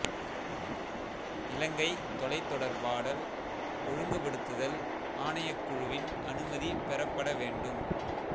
இலங்கை தொலைத் தொடர்பாடல் ஒழுங்குபடுத்தல் ஆணைக்குழு வின் அனுமதி பெறப்பட வேண்டும்